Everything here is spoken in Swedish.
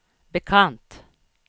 bekant